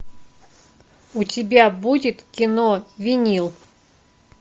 у тебя будет кино винил